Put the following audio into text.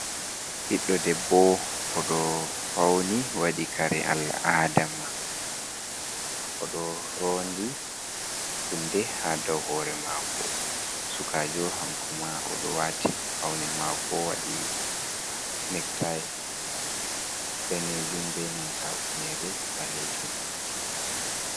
Ɓiɗɗo debbo oɗo fauni waɗi kare al'ada mako oɗo rondi hunde ha daw hore mako sukajo hankoma oɗo wati faune mako wadi nectai danejum be nanta hufinere ɓalejum.